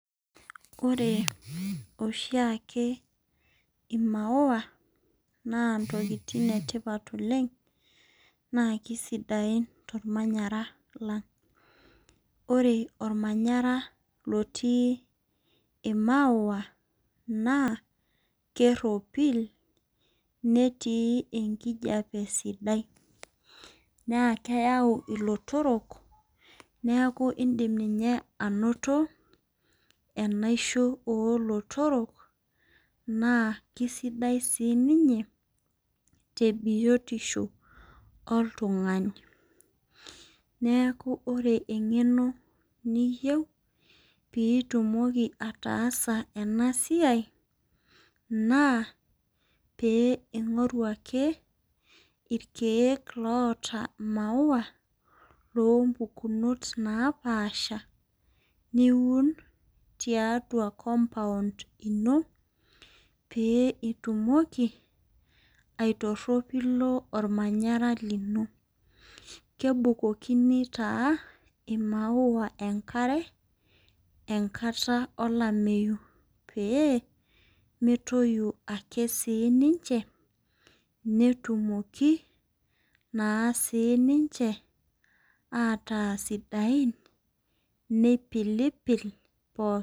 Oreboshiake imaua na ntokitin etipat oleng na kesidain tormanyara lang ore ormanyara otii maua nakeropil netii enkijape sidai na keyau ilotorok neakubindim ninye ainoto enaisho olotorok na kesidai ninye teniotisho oltungani neaku ore emgeno niyieu pitumoki ataasa enasua na peingoru ake irkiek oota maua lompukinot naapasha niuun tiatua compound ino petumokibaitoropilo ormanyara lino kebulokini imaua enkarebl enkata olameyu pemetoyu ake ninche netumoki ataa sidain nipilipil.